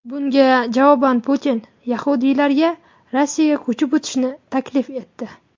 Bunga javoban Putin yahudiylarga Rossiyaga ko‘chib o‘tishni taklif etdi.